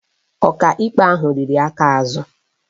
Ọkaikpe ahụ riri aka azụ